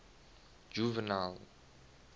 juvenal